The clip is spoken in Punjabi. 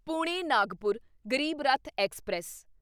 ਪੁਣੇ ਨਾਗਪੁਰ ਗਰੀਬ ਰੱਥ ਐਕਸਪ੍ਰੈਸ